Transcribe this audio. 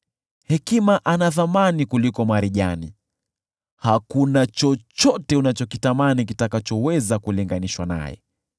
Hekima ana thamani kuliko marijani; hakuna chochote unachokitamani kinachoweza kulinganishwa naye.